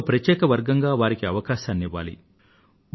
ఒక ప్రత్యేక పర్గంగా వారికి అవకాశాన్ని ఇవ్వాలి